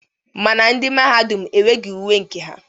Mana ndị Mahadum enweghi uwe nke ha.